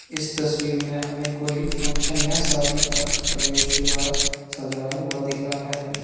इस तस्वीर में हमें कोई फंक्शन या शादी का प्रवेश द्वार सजाया हुआ दिख रहा है।